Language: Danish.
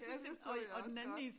Ja det så jeg også godt